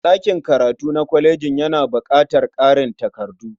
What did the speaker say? Ɗakin karatu na kolejin yana baƙatar ƙarin takardu.